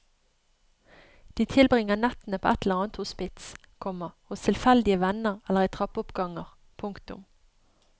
De tilbringer nettene på et eller annet hospits, komma hos tilfeldige venner eller i trappeoppganger. punktum